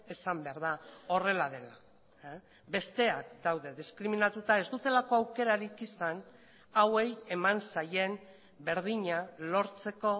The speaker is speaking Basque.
esan behar da horrela dela besteak daude diskriminatuta ez dutelako aukerarik izan hauei eman zaien berdina lortzeko